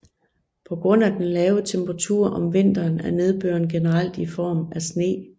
På grund af den lave temperatur om vinteren er nedbøren generelt i form af sne